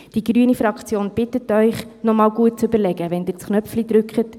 Die grüne Fraktion bittet Sie, noch einmal gut zu überlegen, wenn Sie den Knopf drücken.